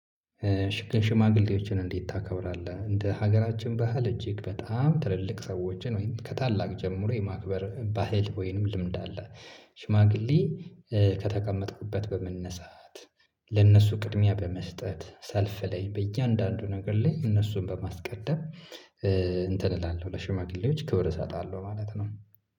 እሽ ሽማግሌዎችን እንዴት ታከብራለህ እንደ ሀገራችን ባህል እጅግ በጣም ትልልቅ ሰዎችን ወይም ከታላቅ ጀምሮ የማክበር ባህል ወይንም ልምድ አለ። ሽማግሌ ከተቀመጥኩበት በመነሳት ለነሱ ቅድሚያ በመስጠት ሰልፍ ላይ በእያንዳንዱ ነገር ላይ እነሱን በማስቀደም። እንትን እላለሁ ለሽማግሌዎች ክብር እሰጣለሁ ማለት ነው